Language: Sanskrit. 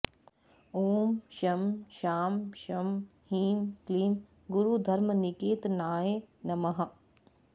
ॐ शं शां षं ह्रीं क्लीं गुरुधर्मनिकेतनाय नमः